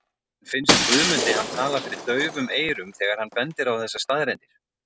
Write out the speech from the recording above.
En finnst Guðmundi hann tala fyrir daufum eyrum þegar hann bendir á þessar staðreyndir?